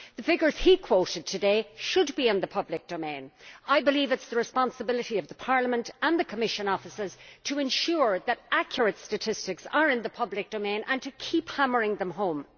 The figures he quoted today should be in the public domain. I believe it is the responsibility of Parliament's and the Commission's offices to ensure that accurate statistics are in the public domain and to keep hammering them home.